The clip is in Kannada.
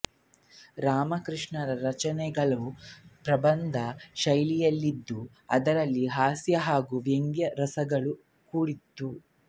ರಾಮಕೃಷ್ಣನ ರಚನೆಗಳು ಪ್ರಬಂಧ ಶೈಲಿಯಲ್ಲಿದ್ದು ಅದರಲ್ಲಿ ಹಾಸ್ಯ ಹಾಗು ವ್ಯಂಗ್ಯ ರಸಗಳು ಕೂಡಿತ್ತು